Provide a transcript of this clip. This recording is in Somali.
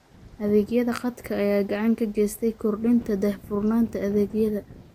Adeegyada khadka ayaa gacan ka geysta kordhinta daahfurnaanta adeegyada.